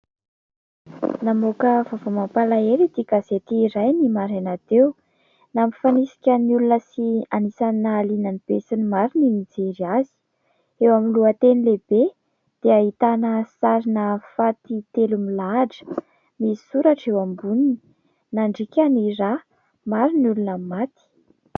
Namoaka vaovao mampalahelo ity gazety iray ny maraina teo. Nampifanisika ny olona sy anisan'ny nahaliana ny besinimaro ny nijery azy. Eo amin'ny lohateny lehibe dia ahitana sarina faty telo milahatra. Misy soratra eo amboniny : nandriaka ny rà, maro ny olona maty.